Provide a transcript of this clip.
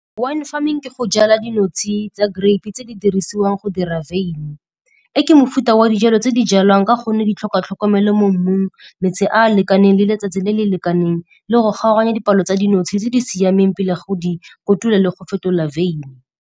Wine farming ke go jala dinotshe tsa grape-e tse di dirisiwang go dira wyn. Ke mofuta wa dijalo tse di jalwang ka gonne di tlhoka tlhokomelo mo mmung, metsi a a lekaneng le letsatsi le le lekaneng, le go kgaoganya dipalo tsa dinotshe tse di siameng pele ga go di kotula le go fetola wyn.